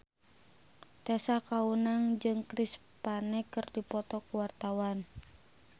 Tessa Kaunang jeung Chris Pane keur dipoto ku wartawan